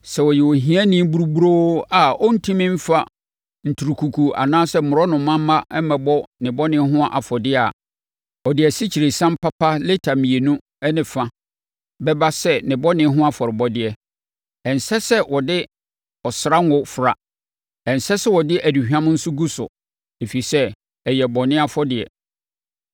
“ ‘Sɛ ɔyɛ ohiani buruburo a ɔrentumi mfa nturukuku anaa mmorɔnoma mma mmɛbɔ ne bɔne ho afɔdeɛ a, ɔde asikyiresiam papa lita mmienu ne fa bɛba sɛ ne bɔne ho afɔrebɔdeɛ. Ɛnsɛ sɛ ɔde ɔsra ngo fra. Ɛnsɛ sɛ ɔde aduhwam nso gu so, ɛfiri sɛ, ɛyɛ bɔne afɔdeɛ.